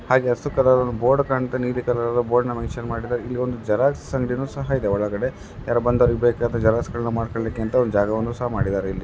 ಹಾಗೆ ಹಸಿರು colour board ಕಾಣ್ತಿದೆ ನೀನೆ ಕಲರ್ ಮೆನ್ಷನ್ ಮಾಡಿದ್ದಾರೆ ಇಲ್ಲಿ ಒಂದು ಜೆರಾಕ್ಸ್ ಅಂಗಡಿಯನ್ನು ಸಹ ಇದೆ ಒಳಗಡ ಯಾರೋ ಒಬ್ಬ ವ್ಯಕ್ತಿ ಹೊರಗಡೆ ನಿಂತಿದ್ದಾರೆ.